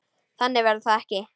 Þannig verður það ekki.